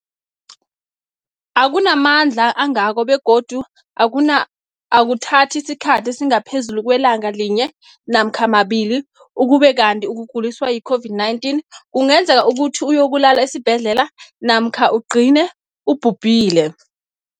akuna mandla angako begodu akuna akuthathi isikhathi esingaphezulu kwelanga linye namkha mabili, ukube kanti ukuguliswa yi-COVID-19 kungenza ukuthi uyokulala esibhedlela namkha ugcine ubhubhile.